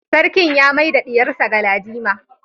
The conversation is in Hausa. Sarki ya mai da diyarsa Galadima